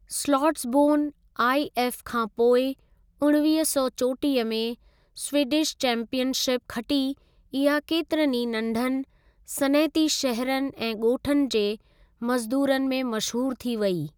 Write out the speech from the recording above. स्लॉट्सबोर्न IF खां पोइ उणिवींह सौ चोटीह में स्वीडिश चैंपीयन शिप खटी इहा केतिरनि ई नंढनि सनअती शहरनि ऐं ॻोठनि जे मज़दूरन में मशहूरु थी वेई।